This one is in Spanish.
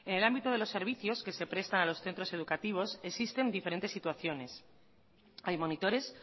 en el ámbito de los servicios que se prestan en los centros educativos existen diferentes situaciones hay monitores